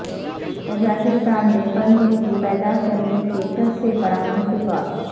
Tajikistan میں پن بجلی پیدا کرنے کے سب سے بڑا منصوبہ